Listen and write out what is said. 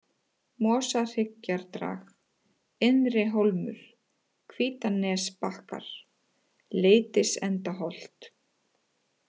Mosahryggjardrag, Innri-Hólmur, Hvítanesbakkar, Leitisendaholt